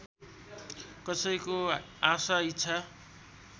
कसैको आशा इच्छा